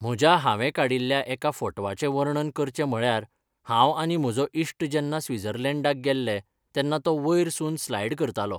म्हज्या हांवें काडिल्ल्या एका फोटवाचें वर्णन करचें म्हळ्यार हांव आनी म्हजो इश्ट जेन्ना स्विजर्लेंडाक गेल्ले, तेन्ना तो वयर सून स्लायड करतालो.